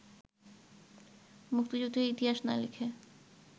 মুক্তিযুদ্ধের ইতিহাস না লিখে